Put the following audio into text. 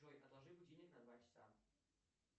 джой отложи будильник на два часа